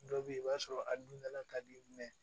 Dɔ bɛ ye i b'a sɔrɔ a dundala ka di